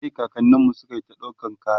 a Kai kakanninmu sukayi ta ɗaukan kaya